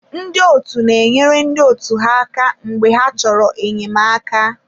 Ndị ọtu na enyere ndị otu ha aka mgbe ha chọrọ enyemaka.